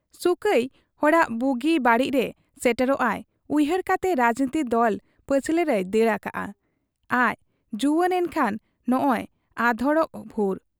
ᱥᱩᱠᱟᱭ, ᱦᱚᱲᱟᱜ ᱵᱩᱜᱤ ᱵᱟᱹᱲᱤᱡᱨᱮ ᱥᱮᱴᱮᱨᱚᱜ ᱟᱭ ᱩᱭᱦᱟᱹᱨ ᱠᱟᱛᱮ ᱨᱟᱡᱽᱱᱤᱛᱤ ᱫᱚᱞ ᱯᱟᱹᱪᱷᱞᱟᱹ ᱨᱮᱭ ᱫᱟᱹᱲ ᱟᱠᱟᱜ ᱟ ᱟᱡ ᱡᱩᱣᱟᱹᱱ ᱮᱱᱠᱷᱟᱱ ᱱᱚᱸᱜᱻᱚᱭ ᱟᱫᱷᱚᱲᱚᱜ ᱵᱷᱩᱨ ᱾